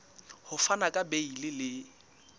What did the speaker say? ho fana ka beile le